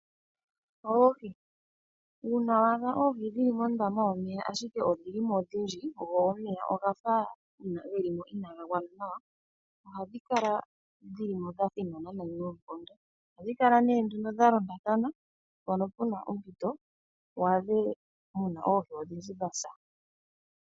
Uuna wa adha oohi dhili mondama yomeya ashike odhili ko odhindji, go omeya geli mo gafa inaga gwana nawa, ohadhi kala dha thinana noonkondo. Ohadhi kala nee nduno dha londathana, mpono puna ompito waadhe muna oohi odhindji dha sa.